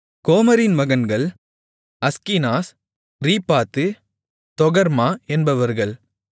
கோமரின் மகன்கள் Ashkenaz Riphath Togarmah என்பவர்கள்